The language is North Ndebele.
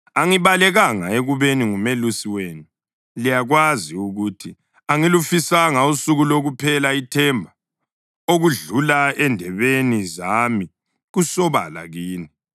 Angibalekanga ekubeni ngumelusi wenu; liyakwazi ukuthi angilufisanga usuku lokuphela ithemba. Okudlula endebeni zami kusobala kini.